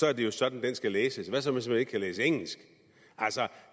er det jo sådan den skal læses hvad så hvis man ikke kan læse engelsk altså